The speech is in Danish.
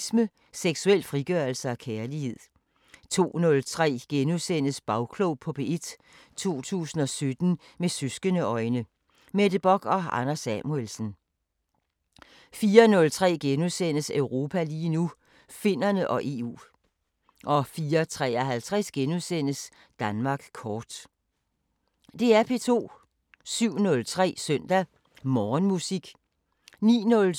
07:03: Søndag Morgenmusik 09:07: Lotte Heise – helt klassisk 11:03: Danmark Live 12:15: P2 Koncerten * 15:03: Søndagsklassikeren 18:03: Bilradio 19:20: P2 Guldkoncerten 03:03: Min yndlingsmusik * 04:03: Danmark Live *